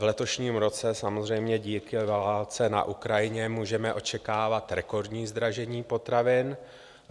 V letošním roce samozřejmě díky válce na Ukrajině můžeme očekávat rekordní zdražení potravin.